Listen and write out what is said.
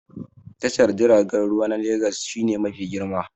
Tashar jiragen ruwa na Legas shi ne mafi girma